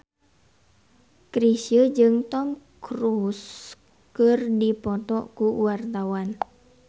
Chrisye jeung Tom Cruise keur dipoto ku wartawan